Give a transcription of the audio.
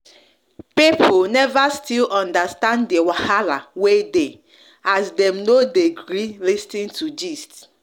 people never still understand the wahala wey dey as dem no de gree lis ten to gist